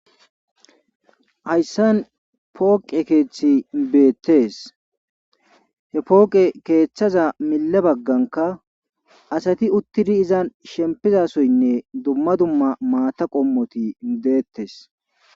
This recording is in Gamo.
hayssan pooqe keethi beettees he pooqe keethaza mille baggankka asati uttidi izan shempiza soynne dumma dumma maata qommoti deettes.